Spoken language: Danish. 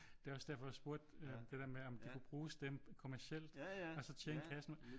Det er også derfor jeg spurgte det der med om de kan bruge stemmen kommercielt og så tjene kassen